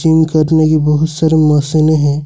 Gym करने की बहुत सारी मशीनें है।